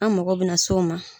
An mago bɛ na s'o ma.